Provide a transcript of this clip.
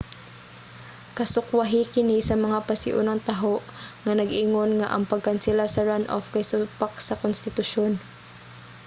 kasukwahi kini sa mga pasiunang taho nga nag-ingon nga ang pagkansela sa runoff kay supak sa konstitusyon